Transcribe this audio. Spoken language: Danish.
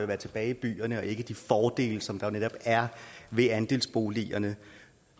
være tilbage i byerne og ikke med de fordele som der netop er ved andelsboligerne